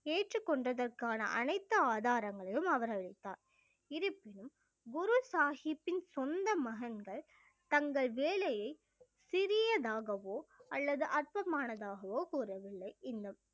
ஏற்றுக் கொண்டதற்கான அனைத்து ஆதாரங்களையும் அவர் அளித்தார் இருப்பினும் குரு சாஹிப்பின் சொந்த மகன்கள் தங்கள் வேலையை சிறியதாகவோ அல்லது அர்ப்பமானதாகவோ கூறவில்லை இன்னும்